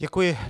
Děkuji.